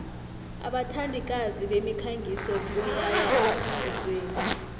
abathandikazi bemikhangiso boyaya emkhangisweni